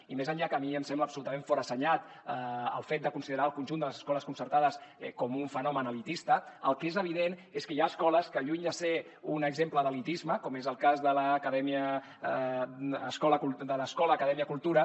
i més enllà que a mi em sembla absolutament forassenyat el fet de considerar el conjunt de les escoles concertades com un fenomen elitista el que és evident és que hi ha escoles que lluny de ser un exemple d’elitisme com és el cas de l’escola acadèmia cultura